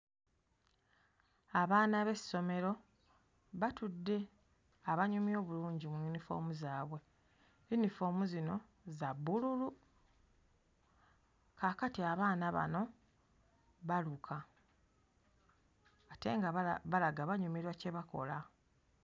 Abaana b'essomero batudde abanyumye obulungi mu yunifoomu zaabwe. Yunifoomu zino za bbululu. Kaakati abaana bano baluka ate nga bala balaga banyumirwa kye bakola.